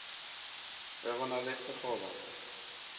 ge go na le sekgoba